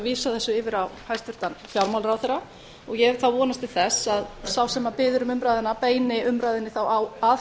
vísað þessu yfir á hæstvirtan fjármálaráðherra ég hef þá vonast til þess að sá sem biður um umræðuna þá að